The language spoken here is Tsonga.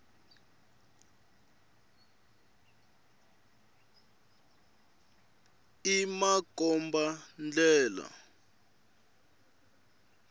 i makomba ndlela